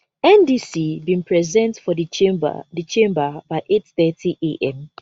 ndc bin present for di chamber di chamber by 830 am